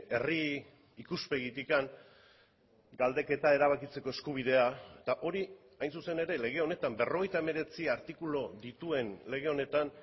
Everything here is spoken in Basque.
herri ikuspegitik galdeketa erabakitzeko eskubidea eta hori hain zuzen ere lege honetan berrogeita hemeretzi artikulu dituen lege honetan